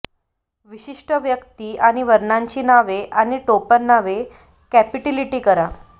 विशिष्ट व्यक्ती आणि वर्णांची नावे आणि टोपणनामे कॅपिटलिटि करा